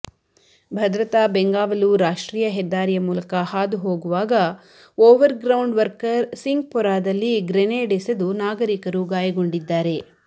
ಭದ್ರತಾ ಬೆಂಗಾವಲು ರಾಷ್ಟ್ರೀಯ ಹೆದ್ದಾರಿಯ ಮೂಲಕ ಹಾದುಹೋಗುವಾಗ ಓವರ್ ಗ್ರೌಂಡ್ ವರ್ಕರ್ ಸಿಂಗ್ಪೊರಾದಲ್ಲಿ ಗ್ರೆನೇಡ್ ಎಸೆದು ನಾಗರಿಕರು ಗಾಯಗೊಂಡಿದ್ದಾರೆ